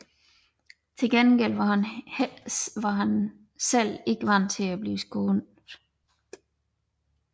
Men til gengæld var han selv ikke vant til at blive skånet